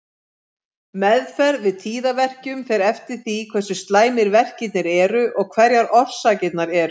Meðferð við tíðaverkjum fer eftir því hversu slæmir verkirnir eru og hverjar orsakirnar eru.